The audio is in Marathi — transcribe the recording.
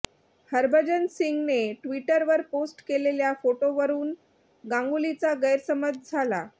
हरभजन सिंहने ट्विटरवर पोस्ट केलेल्या फोटोवरूनव गांगुलीचा गैरसमज झाला